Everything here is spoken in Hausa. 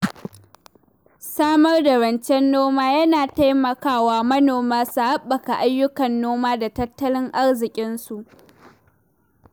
Samar da rancen noma yana taimaka wa manoma su haɓaka ayyukan noma da tattalin arziƙinsu